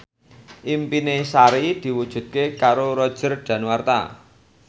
impine Sari diwujudke karo Roger Danuarta